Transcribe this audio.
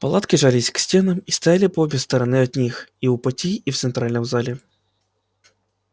палатки жались к стенам и стояли по обе стороны от них и у пути и в центральном зале